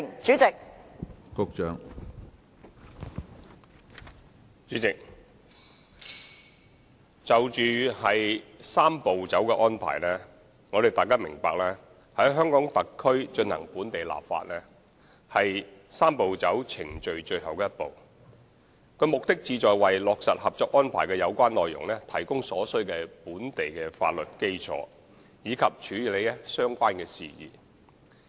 主席，關於"三步走"程序，大家必須明白，在香港特區進行本地立法是"三步走"程序的最後一步，其目的是就着落實《合作安排》的有關內容，提供所需的本地法律基礎，以及處理相關事宜。